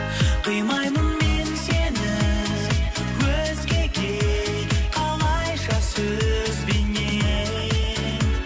қимаймын мен сені өзгеге қалайша сөзбенен